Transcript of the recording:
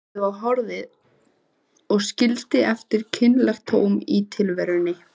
Skipið var horfið og skildi eftir kynlegt tóm í tilverunni.